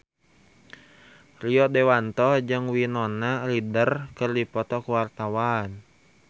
Rio Dewanto jeung Winona Ryder keur dipoto ku wartawan